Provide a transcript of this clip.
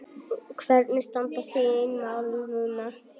Hvernig standa þín mál núna?